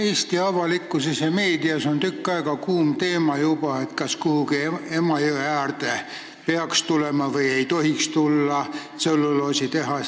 Eesti avalikkuses ja meedias on juba tükk aega olnud kuum teema, kas kuhugi Emajõe äärde peaks tulema või ei tohiks tulla tselluloositehas.